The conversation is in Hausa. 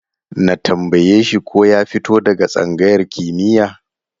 Na tambaye shi ko ya fito daga tsangayar kimiyya?